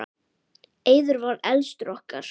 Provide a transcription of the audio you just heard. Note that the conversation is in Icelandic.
Eiður var elstur okkar.